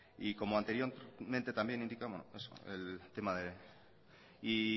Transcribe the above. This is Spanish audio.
y